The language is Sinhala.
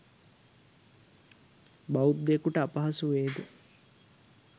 බෞද්ධයෙකුට අපහසු වේ ද?